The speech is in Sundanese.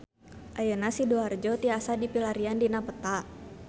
Ayeuna Sidoarjo tiasa dipilarian dina peta